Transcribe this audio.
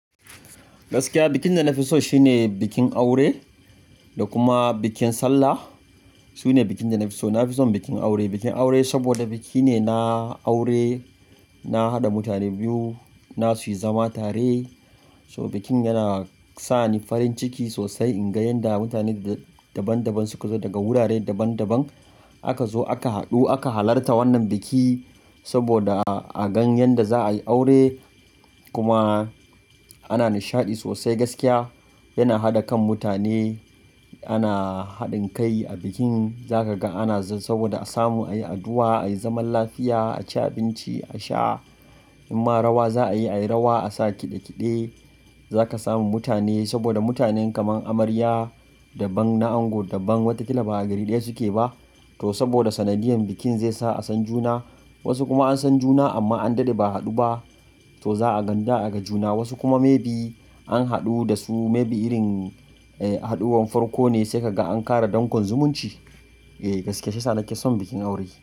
Gaskiya bikin da na fi so shine bikin aure da kuma bikin sallah. Su ne bikin da na fi so. Na fi son bikin aure. Bikin aure saboda biki ne na aure, na haɗa mutane biyu na su zama tare. To bikin yana sa ni farin ciki sosai in ga yanda mutane daban daban suka zo daga wurare daban daban aka zo aka haɗu aka halarta wannan biki saboda a gan yanda za a yi aure. Kuma ana nishaɗi sosai gaskiya. Yana haɗa kan mutane ana haɗin kai a bikin za ka ga ana saboda a samu ayi addu'a, ayi zaman lafiya, a ci abinci, a sha. In ma rawa za a yi, ayi rawa a sa kiɗe kiɗe. Za ka samu mutane saboda mutanen kamar amarya daban na ango daban, wataƙila ba a gari ɗaya suke ba to saboda sanadiyan bikin zai sa a san juna. Wasu kuma an san juna amma an daɗe ba a haɗu ba to za a gan da aga juna. Wasu kuma maybe an haɗu da su maybe irin, eh, haɗuwar farko ne sai ka ga an ƙara dankon zumunci. Eh, gaskiya shiyasa, nake son bikin aure.